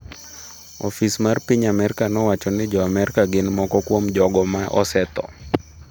Ofis mar piny Amerka nowacho ni jo Amerka gin moko kuom jogo ma osetho.